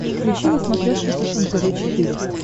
включи на смотрешке фэшен тв четыре к